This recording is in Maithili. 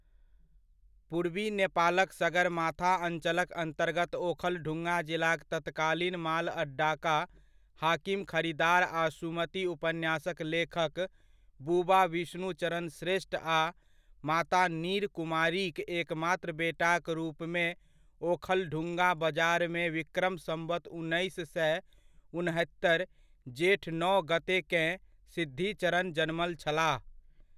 पूर्वी नेपालक सगरमाथा अञ्चलक अन्तर्गत ओखलढुंगा जिलाक तत्कालीन मालअड्डाका हाकिम खरिदार आ सुमति उपन्यासक लेखक बुबा विष्णुचरण श्रेष्ठ आ माता नीरकुमारीक एकमात्र बेटाक रूपमे ओखलढुंगा बजारमे विक्रम सम्वत् उन्नैस सए उनहत्तरि, जेठ नओ गत्तेकेँ, सिद्धिचरण जन्मल छलाह।